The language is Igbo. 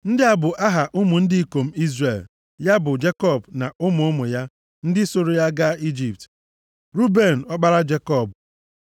Ndị a bụ aha ụmụ ndị ikom Izrel, ya bụ Jekọb na ụmụ ụmụ ya, ndị sooro ya gaa Ijipt. Ruben, ọkpara Jekọb